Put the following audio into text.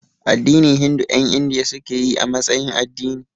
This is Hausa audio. Addinin Hindu ƴan Indiya suke yi a matsayin addini